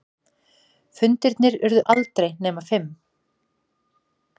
Fundirnir urðu aldrei nema fimm.